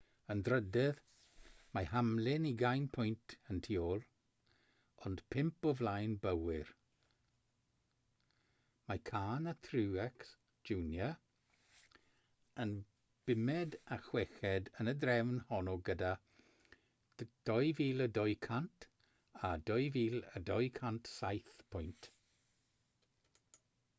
yn drydydd mae hamlin ugain pwynt y tu ôl ond pump o flaen bowyer mae kahne a truex jr yn bumed a chweched yn y drefn honno gyda 2,200 a 2,207 pwynt